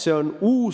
Ei ole!